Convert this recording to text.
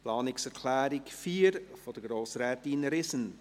Zur Planungserklärung 4 von Grossrätin Riesen: